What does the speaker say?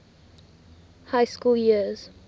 high school years